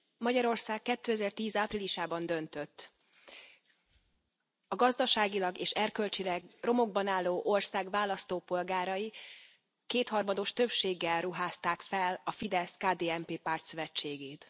Magyarország 2010 áprilisában döntött. A gazdaságilag és erkölcsileg romokban álló ország választópolgárai kétharmados többséggel ruházták fel a Fidesz KDNP pártszövetségét.